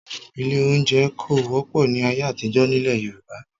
Ilé-oúnjẹ kò wọ́pọ̀ ni ayé àtijọ́ nílẹ̀ Yorùbá